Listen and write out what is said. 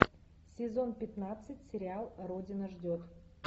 сезон пятнадцать сериал родина ждет